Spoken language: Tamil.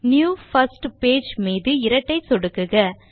நியூ பிர்ஸ்ட் பேஜ் மீது இரட்டை சொடுக்குக